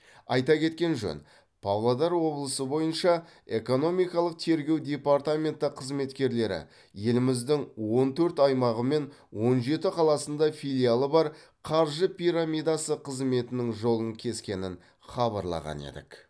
айта кеткен жөн павлодар облысы бойынша экономикалық тергеу департаменті қызметкерлері еліміздің он төрт аймағы мен он жеті қаласында филиалы бар қаржы пирамидасы қызметінің жолын кескенін хабарлаған едік